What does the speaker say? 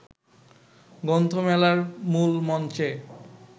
গ্রন্থমেলার মূল মঞ্চে